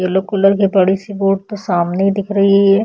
Yellow colour की बड़ी सी बोट तो सामने ही दिख रही है।